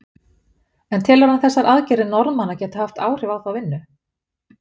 En telur hann þessar aðgerðir Norðmanna geta haft áhrif á þá vinnu?